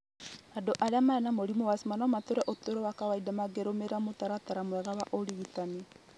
Andũ arĩa marĩ na mũrimũ wa asthma no matũũre ũtũũro wa kawaida mangĩrũmĩrĩra mũtaratara mwega wa ũrigitani.